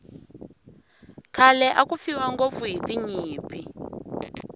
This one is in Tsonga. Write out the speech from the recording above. khale aku fiwa ngopfu hiti nyimpi